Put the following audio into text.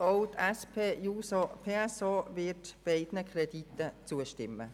Auch die SP-JUSO-PSA-Fraktion wird beiden Krediten zustimmen.